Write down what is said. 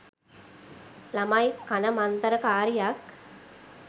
ළමයි කන මන්තර කාරියක්.